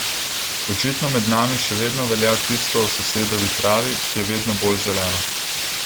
Očitno med nami še vedno velja tisto o sosedovi travi, ki je vedno bolj zelena.